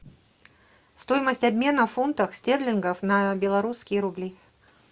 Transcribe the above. стоимость обмена фунтов стерлингов на белорусские рубли